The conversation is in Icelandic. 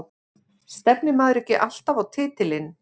Stefnir maður ekki alltaf á titilinn?